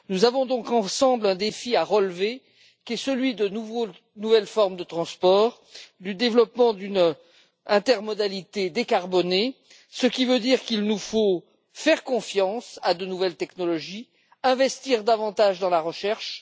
Nous avons donc ensemble un défi à relever, qui est celui de nouvelles formes de transport, du développement d'une intermodalité décarbonée, ce qui signifie qu'il nous faut faire confiance à de nouvelles technologies et investir davantage dans la recherche.